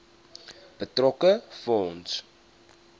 betrokke fonds